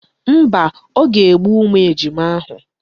Mba, o ga-egbu ụmụ ejima ahụ.